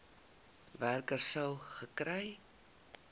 werker sou gekry